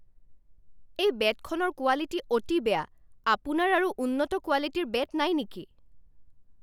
এই বেটখনৰ কোৱালিটী অতি বেয়া। আপোনাৰ আৰু উন্নত কোৱালিটীৰ বেট নাই নেকি?